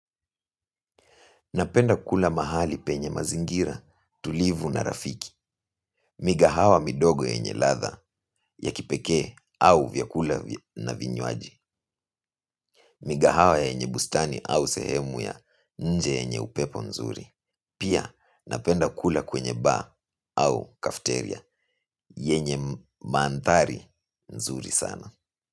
Napenda kula mahali penye mazingira, tulivu na rafiki. Migahawa midogo yenye ladha ya kipekee au vyakula na vinywaji. Migahawa yenye bustani au sehemu ya nje yenye upepo nzuri. Pia napenda kula kwenye ba au kafteria yenye mandhari nzuri sana.